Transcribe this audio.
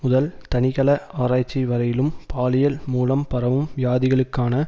முதல் தனிக்கல ஆராய்ச்சி வரையிலும் பாலியல் மூலம் பரவும் வியாதிகளுக்கான